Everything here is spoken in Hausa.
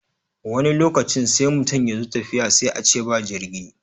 Wani lokacin sai mutum ya zo tafiya sai a ce ba jirgi.